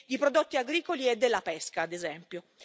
di prodotti agricoli e della pesca, ad esempio.